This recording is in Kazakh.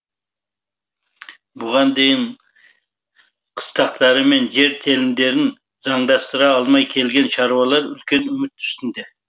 бұған дейін қыстақтары мен жер телімдерін заңдастыра алмай келген шаруалар үлкен үміт үстінде